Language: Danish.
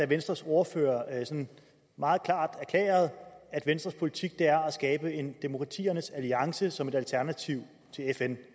venstres ordfører meget klart erklærede at venstres politik er at skabe en demokratiernes alliance som et alternativ til fn